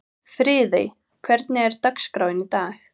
Friðey, hvernig er dagskráin í dag?